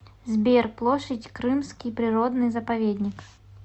сбер площадь крымский природный заповедник